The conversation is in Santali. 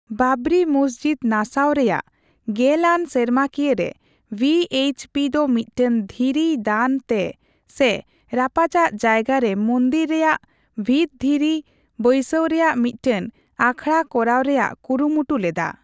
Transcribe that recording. ᱵᱟᱵᱨᱤ ᱢᱚᱥᱡᱤᱫ ᱱᱟᱥᱟᱣ ᱨᱮᱭᱟᱜ ᱜᱮᱞ ᱟᱱ ᱥᱮᱨᱢᱟᱠᱤᱭᱟᱹ ᱨᱮ, ᱵᱷᱤᱹᱮᱤᱪᱹ ᱯᱤ ᱫᱚ ᱢᱤᱫᱴᱟᱝ ᱫᱷᱤᱨᱤᱭ ᱫᱟᱱ ᱛᱮ ᱥᱮ ᱨᱟᱯᱪᱟᱜ ᱡᱟᱭᱜᱟ ᱨᱮ ᱢᱚᱱᱫᱤᱨ ᱨᱮᱭᱟᱜ ᱵᱷᱤᱛ ᱫᱷᱤᱨᱤ ᱵᱟᱹᱭᱥᱟᱹᱣ ᱨᱮᱭᱟᱜ ᱢᱤᱫᱴᱮᱱ ᱟᱠᱷᱲᱟ ᱠᱚᱨᱟᱣ ᱨᱮᱭᱟᱜ ᱠᱩᱨᱩᱢᱩᱴᱩ ᱞᱮᱫᱟ ᱾